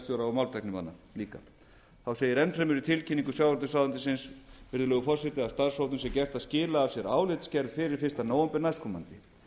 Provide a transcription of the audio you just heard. málmtæknimanna líka þá segir enn fremur í tilkynningu sjávarútvegsráðuneytisins virðulegur forseti að starfshópnum sé gert að skila af sér álitsgerð fyrir fyrsta nóvember næstkomandi